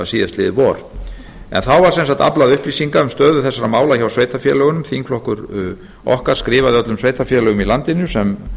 síðastliðið vor þá var sem sagt aflað upplýsinga um stöðu þessara mála hjá sveitarfélögunum þingflokkur okkar skrifaði öllum sveitarfélögum í landinu sem